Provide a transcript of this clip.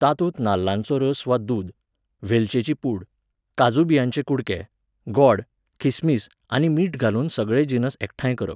तातूंत नाल्लांचो रोस वा दूद, वेलचेची पूड, काजू बियांचे कुडके, गॉड, खिसमीस आनी मीठ घालून सगळे जिनस एकठांय करप.